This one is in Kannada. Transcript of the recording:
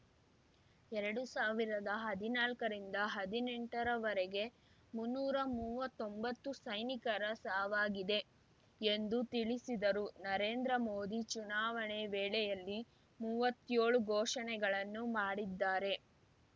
ಎರಡು ಸಾವಿರದ ಹದಿನಾಲ್ಕ ರಿಂದಹದಿನೆಂಟರ ವರೆಗೆ ಮುನ್ನೂರಾ ಮೂವತ್ತೊಂಬತ್ತು ಸೈನಿಕರ ಸಾವಾಗಿದೆ ಎಂದು ತಿಳಿಸಿದರು ನರೇಂದ್ರ ಮೋದಿ ಚುನಾವಣೆ ವೇಳೆಯಲ್ಲಿ ಮುವತ್ತೇಳು ಘೋಷಣೆಗಳನ್ನು ಮಾಡಿದ್ದಾರೆ